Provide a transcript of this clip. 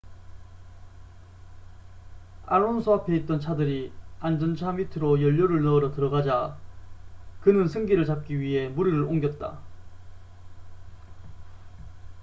알론소 앞에 있던 차들이 안전차 밑으로 연료를 넣으러 들어가자 그는 승기를 잡기 위해 무리를 옮겼다